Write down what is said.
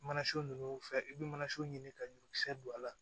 Mana so nunnu fɛn i be manaso ɲini ka ɲɔkisɛ don a la